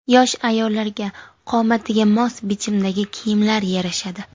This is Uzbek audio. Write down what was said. Yosh ayollarga qomatiga mos bichimdagi kiyimlar yarashadi.